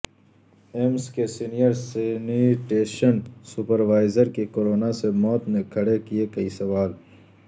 AIIMS کے senior sanitation supervisor کی corona سے موت نے کھڑے کیے کئی سوال